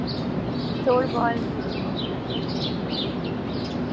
শুনলাম যে যাওয়ার plan করছিস?